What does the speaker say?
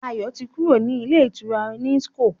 Ayo tí kúrò ní Ilé-ìtura Nicon.